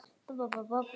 Víða flæddi yfir vegi.